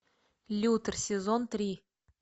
лютер сезон три